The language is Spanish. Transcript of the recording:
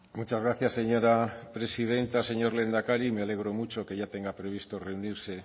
muchas gracias señora presidenta señor lehendakari me alegro mucho que ya tenga previsto reunirse